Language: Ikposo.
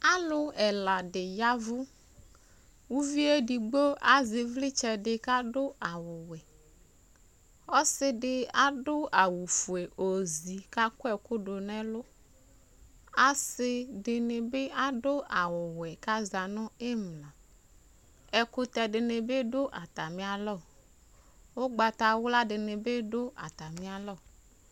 Alʋ ɛla dɩ ya ɛvʋ Uvi yɛ edigbo azɛ ɩvlɩtsɛ dɩ kʋ adʋ awʋwɛ Ɔsɩ dɩ adʋ awʋfue ozi kʋ akɔ ɛkʋ dʋ nʋ ɛlʋ Asɩ dɩnɩ bɩ adʋ awʋwɛ kʋ aza nʋ ɩmla Ɛkʋtɛ dɩnɩ bɩ dʋ atamɩalɔ, ʋgbatawla dɩnɩ bɩ dʋ atamɩalɔ